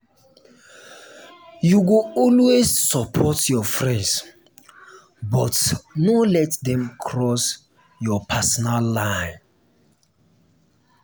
you go always support your friends but no let dem cross your personal line.